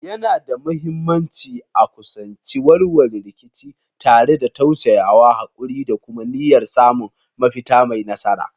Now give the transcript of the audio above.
Yana da mahimmanci a kusanci warware rikici tare da tausayawa, haƙuri, da kuma niyyar samun mafita mai nasara.